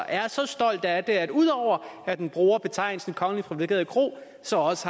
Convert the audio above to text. er så stolt af det at ud over at den bruger betegnelsen kongeligt privilegeret kro så